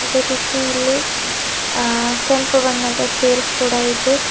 ಅದೇ ರೀತಿ ಇಲ್ಲಿ ಆ ಕೆಂಪು ಬಣ್ಣದ ಚೇರ್ಸ್ ಕೂಡ ಇದೆ.